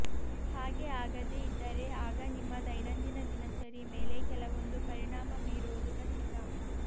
ಹಾಗೆ ಆಗದೆ ಇದ್ದರೆ ಆಗ ನಿಮ್ಮ ದೈನಂದಿನ ದಿನಚರಿ ಮೇಲೆ ಕೆಲವೊಂದು ಪರಿಣಾಮ ಬೀರುವುದು ಖಚಿತ